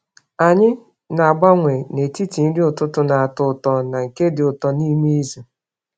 Anyị na-agbanwe n’etiti nri ụtụtụ na-atọ ụtọ na nke dị ụtọ n’ime izu.